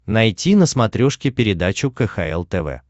найти на смотрешке передачу кхл тв